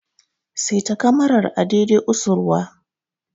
Seta kamarar a dai dai usurwa!